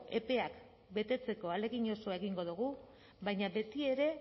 epeak betetzeko ahalegin osoa egingo dugu baina betiere